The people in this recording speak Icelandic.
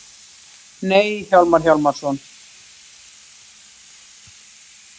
Nei, Hjálmar Hjálmarsson.